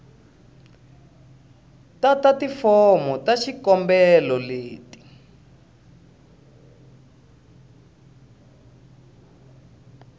tata tifomo ta xikombelo leti